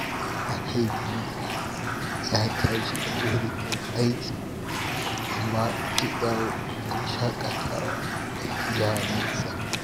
Mahaifi ya tashi da wuri don aiki, amma zai dawo don shakatawa da iyalinsa.